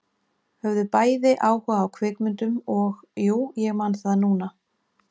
Höfðu bæði áhuga á kvikmyndum og- jú, ég man það núna